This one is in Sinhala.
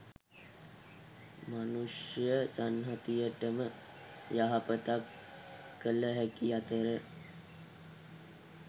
මනුෂ්‍ය සංහතියටම යහපතක් කළ හැකි අතර